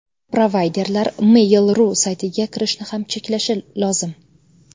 Provayderlar Mail.ru saytiga kirishni ham cheklashi lozim.